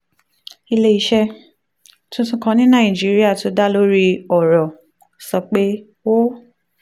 alerzo ilé iṣẹ́ tuntun kan ní nàìjíríà tó dá lórí ọ̀rọ̀ e-commerce b two b sọ pé ó